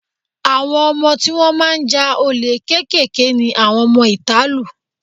Àwọn ọmọ tí wọ́n máa ń ja olè kéékèèké ni àwọn ọmọ ìta lù.